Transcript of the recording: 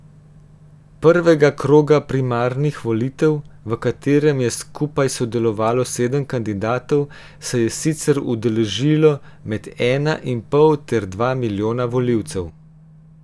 Prvega kroga primarnih volitev, v katerem je skupaj sodelovalo sedem kandidatov, se je sicer udeležilo med ena in pol ter dva milijona volivcev.